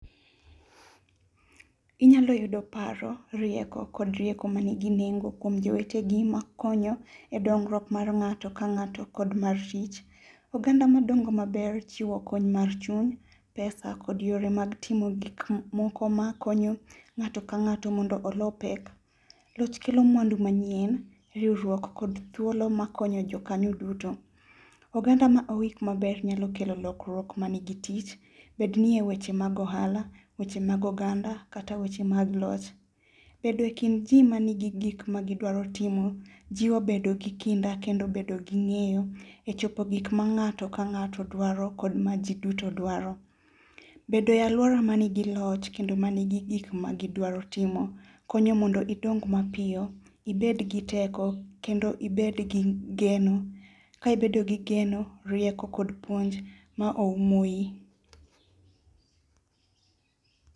Inyalo yudo paro, rieko, kod rieko manigi nengo kuom jowetegi ma konyo e dongruok mar ng'ato ka ng'ato kod mar tich. Oganda madongo maber chiwo kony mar chuny, pesa, kod yore mag timo gik moko ma konyo ng'ato ka ng'ato mondo olo pek. Loch kelo mwandu machien, riwruok kod thuolo makonyo jokanyo duto. Oganda ma orit maber nyalo kelo lokruok manigi tich. Bed ni e weche mag ohala, weche mag oganda, kata weche mag loch. Bedo e kind ji manigi gik magidwaro timo jiwo bedo gi kinda kendo bedo gi ng'eyo e chopo gik ma ng'ato ka ng'ato dwaro kod majiduto dwaro. Bedo e aluora manigi loch kendo manigi gik magidwaro timo konyo mondo gidong mapiyo. ibed gi teko, kendo ibed gi geno. Ka ibedo gi geno, rieko, kod puonj ma oumo wiyi.